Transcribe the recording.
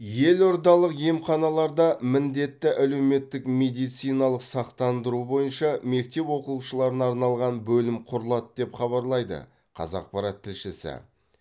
елордалық емханаларда міндетті әлеуметтік медициналық сақтандыру бойынша мектеп оқушыларына арналған бөлім құрылады деп хабарлайды қазақпарат тілшісі